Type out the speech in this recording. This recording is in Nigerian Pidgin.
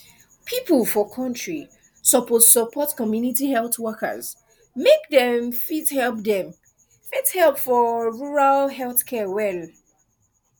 people for country suppose support chws community health workers make dem fit help dem fit help for rural health care well